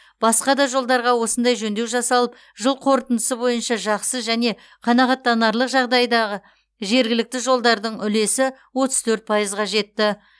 басқа да жолдарға осындай жөндеу жасалып жыл қорытындысы бойынша жақсы және қанағаттанарлық жағдайдағы жергілікті жолдардың үлесі отыз төрт пайызға жетті